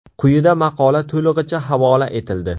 Quyida maqola to‘lig‘icha havola etildi.